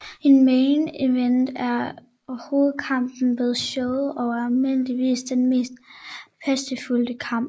En main event er hovedkampen ved showet og er almindeligvis den mest prestigefyldte kamp